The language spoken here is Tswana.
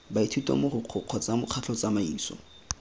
baithuti mogokgo kgotsa mokgatlho tsamaiso